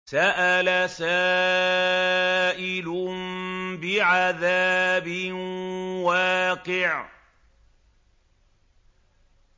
سَأَلَ سَائِلٌ بِعَذَابٍ وَاقِعٍ